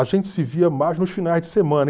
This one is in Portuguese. A gente se via mais nos finais de semana.